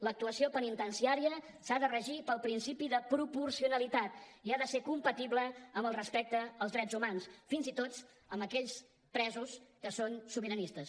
l’actuació penitenciària s’ha de regir pel principi de proporcionalitat i ha de ser compatible amb el respecte als drets humans fins i tot amb aquells presos que són sobiranistes